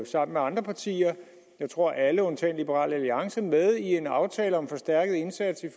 sammen med andre partier jeg tror alle undtagen liberal alliance er med i en aftale om en forstærket indsats i